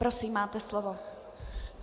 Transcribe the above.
Prosím, máte slovo.